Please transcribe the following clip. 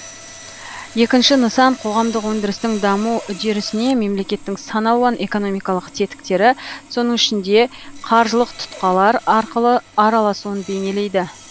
екінші нысан қоғамдық өндірістің даму үдерісіне мемлекеттің сан алуан экономикалық тетіктері соның ішінде қаржылық тұтқалар арқылы араласуын бейнелейді